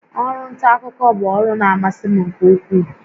Ọrụ nta akụkọ bụ ọrụ na-amasị m nke ukwuu